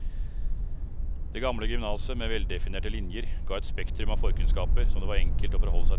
Det gamle gymnaset med veldefinerte linjer ga et spektrum av forkunnskaper som det var enkelt å forholde seg til.